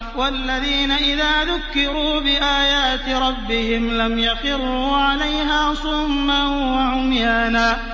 وَالَّذِينَ إِذَا ذُكِّرُوا بِآيَاتِ رَبِّهِمْ لَمْ يَخِرُّوا عَلَيْهَا صُمًّا وَعُمْيَانًا